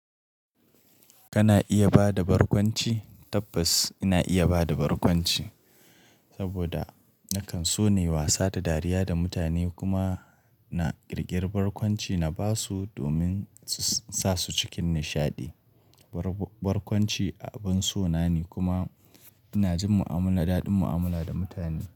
Kana iya ba da barkwanci? Tabbas ina iya ba da barkwanci saboda nakan so na yi wasa da dariya da mutane kuma na ƙirƙiri barkwanci na ba su domin su sa su cikin nishaɗi. Barkwanci abin so na ne kuma ina jin mu'amala daɗin mu'amala da mutane.